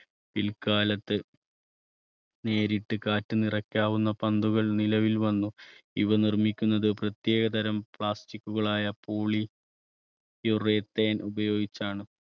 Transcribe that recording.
പിൽക്കാലത്ത് നേരിട്ട് കാറ്റ് നിറയ്ക്കാവുന്ന പന്തുകൾ നിലവിൽ വന്നു ഇവ നിർമ്മിക്കുന്നത് പ്രത്യേകതരം plastic കൾ ആയ poly urethane ഉപയോഗിച്ചാണ്.